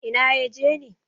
Ina ya je ne?